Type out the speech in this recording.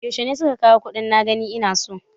Yaushe suka kawo kuɗin na gani ina so?